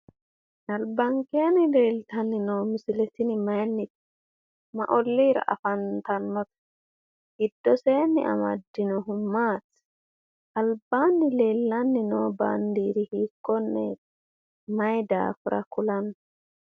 Albankeenni leeltanni noo misile tini mayinnite? Ma olliira afantannote? Giddoseenni amaddinohu maati? Albaanni leellanni noo baandiiri hiikkonneeti? Mayi daafira kulanno?